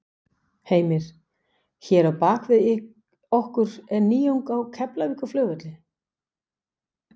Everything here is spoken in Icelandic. Heimir: Hér á bak við okkur er nýjung á Keflavíkurflugvelli?